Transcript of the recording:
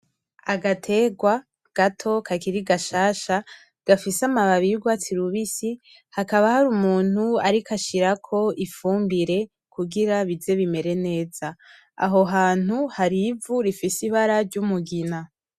Agaterwa gato gakiri gashasha gafise ama babi y'urwatsi rubitsi , hakaba hari umuntu ariko ashira ifumbire kugira bize bimere neza . Aho hantu hari ivu rifise ibara ry'umugina.